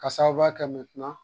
K'a sababuya kɛ